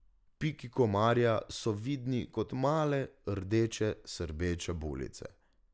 Piki komarja so vidni kot male, rdeče, srbeče bulice.